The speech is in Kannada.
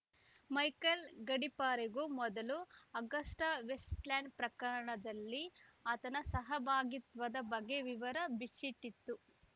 ಮೈಕಲ್‌ ಗಡಿಪಾರಿಗೂ ಮೊದಲು ಅಗಸ್ಟಾವೆಸ್ಟ್‌ಲ್ಯಾಂಡ್‌ ಪ್ರಕರಣದಲ್ಲಿ ಆತನ ಸಹಭಾಗಿತ್ವದ ಬಗ್ಗೆ ವಿವರ ಬಿಚ್ಚಿಟ್ಟಿತ್ತು